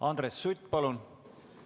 Andres Sutt, palun!